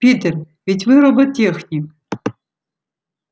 питер ведь вы роботехник